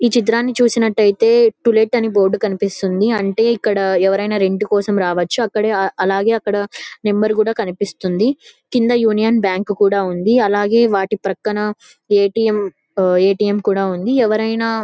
ఈ చిత్రాని చూసినట్టయితే టులెట్ అనే బోర్డు కనిపిస్తుంది. అంటే ఇక్కడ ఎవరు అయిన రెంట్ కోసం రావచ్చు. అక్కడే అలాగే అక్కడ నెంబర్ కూడా కనిపిస్తుంది. కింద యూనియన్ బ్యాంకు కూడా ఉంది. అలాగే వాటి పక్కన ఏ_టీ_ఎం ఏ_టీ_ఎం కూడా ఉంది. ఎవరైనా --